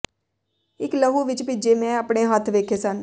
ਇਕ ਲਹੂ ਵਿਚ ਭਿੱਜੇ ਮੈਂ ਆਪਣੇ ਹੱਥ ਵੇਖੇ ਸਨ